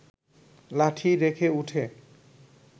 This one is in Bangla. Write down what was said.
লাঠি রেখে উঠে